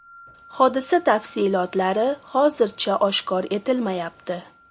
Hodisa tafsilotlari hozircha oshkor etilmayapti.